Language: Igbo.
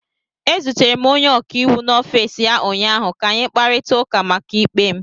Ezutere m onye ọkaiwu n'ọfiisi ya ụnyaahụ ka anyị kparịta ụka maka ikpe m.